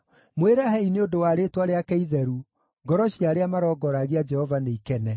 Mwĩrahei nĩ ũndũ wa rĩĩtwa rĩake itheru; ngoro cia arĩa marongoragia Jehova nĩ ikene.